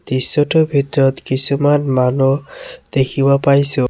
দৃশ্যটোৰ ভিতৰত কিছুমান মানুহ দেখিব পাইছোঁ।